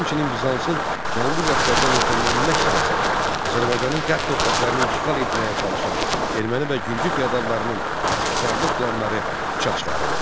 Həmçinin Bizansın Cənubi Qafqazda möhkəmlənmək siyasəti, Azərbaycanın qərb torpaqlarını işğal etməyə çalışan erməni və gürcü feodallarının qəsbkarlıq planları puça çıxarıldı.